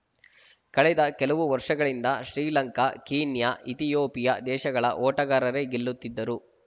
ಕಳೆದ ಕೆಲವು ವರ್ಷಗಳಿಂದ ಶ್ರೀಲಂಕಾ ಕೀನ್ಯ ಇಥಿಯೋಪಿಯಾ ದೇಶಗಳ ಓಟಗಾರರೇ ಗೆಲ್ಲುತ್ತಿದ್ದರು